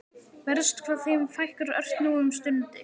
Verst hvað þeim fækkar ört nú um stundir.